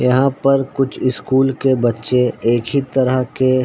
यहाँ पर कुछ स्कूल के बच्चे एक ही तरह के--